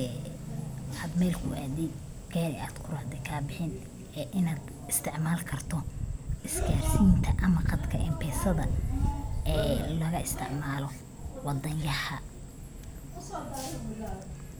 ee ad mel ku adid gari adkuracde kabixin ee inad istacmalikarto is garsinta ama qadka m-pesada gala isticmalo wadanyahay.